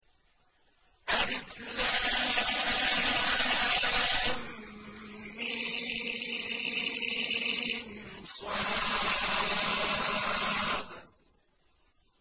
المص